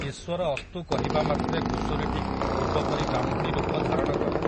ଈଶ୍ୱର ଅସ୍ତୁ କହିବା ମାତ୍ରେ ଘୁଷୁରୀଟି ପୂର୍ବପରି ବ୍ରାହ୍ମଣୀ ରୂପ ଧାରଣ କଲା ।